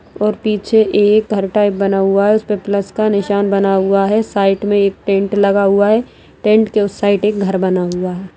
और पीछे एक घर टाइप बना हुआ है उसपे प्लस का निशान बना हुआ है साइड में एक टेन्ट लगा हुआ है टेंट के उस साइड में एक घर बना हुआ है।